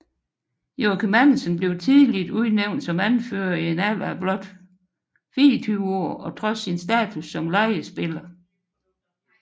Joachim Andersen blev tidligt udnævnt som anfører i en alder af blot 24 år og trods sin status som lejespiller